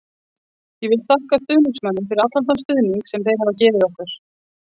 Ég vil þakka stuðningsmönnunum fyrir allan þann stuðning sem þeir hafa gefið okkur.